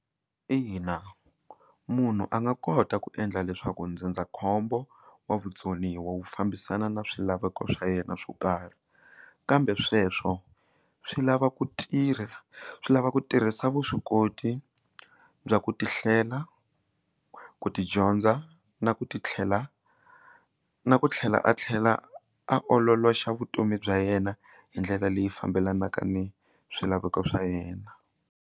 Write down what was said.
Ina munhu a nga kota ku endla leswaku ndzindzakhombo wa vutsoniwa wu fambisana na swilaveko swa yena swo karhi kambe sweswo swi lava ku tirha swi lava ku tirhisa vuswikoti bya ku tihlela ku tidyondza na ku ti tlhela na ku tlhela a tlhela a ololoxa vutomi bya yena hi ndlela leyi fambelanaka ni swilaveko swa yena.